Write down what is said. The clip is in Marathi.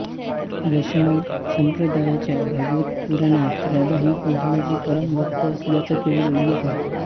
वैष्णव संप्रदायाच्या भागवत पुराणात राधा ही कृष्णाची परमभक्त असल्याचा केवळ उल्लेख आहे